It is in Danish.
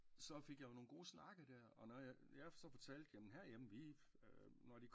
Så fik jeg jo nogen gode snakke der og når jeg så fortalte jamen her hjemme vi når